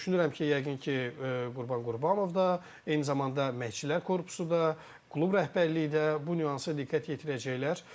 Düşünürəm ki, yəqin ki, Qurban Qurbanov da, eyni zamanda məşqçilər korpusu da, klub rəhbərliyi də bu nüansa diqqət yetirəcəklər.